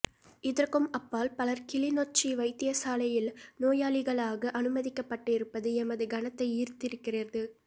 இதற்கும் அப்பால் பலர் கிளிநொச்சி வைத்தியசாலையில் நோயாளிகளாக அனுமதிக்கப்பட்டிருப்பது எமது கனத்தை ஈர்த்திருக்கிறது